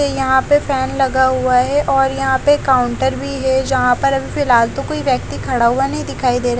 ये यहाँ पे फैन लगा हुआ है और यहाँ पे काउंटर भी है जहाँ पर अभी फिलहाल तो कोई व्यक्ति खड़ा हुआ नही दिखाई दे रहा--